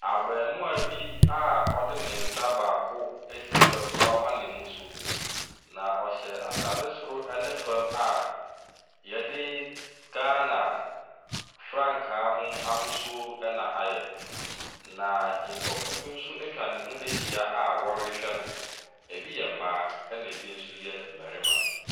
Abaamua bi a ɔde ne nsa baako asi fam na wama ne mu so. Na ɔhyɛ ataade soro ne fam a yɛde Ghana frankaa ho ahosuo na ayɛ. Na nkurɔfoɔ bi nso atwa ne ho ahyia a wɔrehwɛ no, bi yɛ mmaa na bi nso yɛ mmarima .